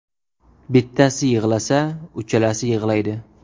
Bittasi yig‘lasa, uchalasi yig‘laydi.